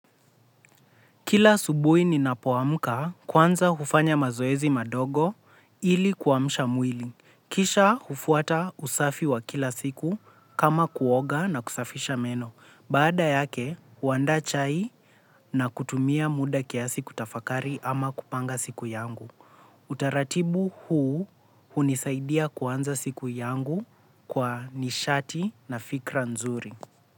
Kila asubuhi ninapoamka kwanza hufanya mazoezi madogo ili kuamsha mwili. Kisha hufuata usafi wa kila siku kama kuoga na kusafisha meno. Baada yake, huandaa chai na kutumia muda kiasi kutafakari ama kupanga siku yangu. Utaratibu huu hunisaidia kuanza siku yangu kwa nishati na fikra nzuri.